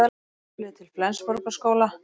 Gulleplið til Flensborgarskóla